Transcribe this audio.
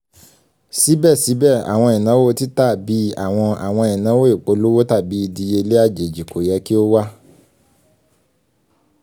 síbẹ̀síbẹ̀ àwọn ìnáwó tìta bii àwọn àwọn ìnáwó ìpolówó tàbì ìdíyelé àjèjì ko yẹ́ kí o wà